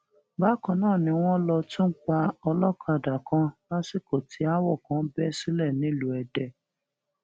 bákan náà ni wọn lọ tún pa ọlọ́kàdá kan lásìkò tí aáwọ kan bẹ sílẹ nílùú èdè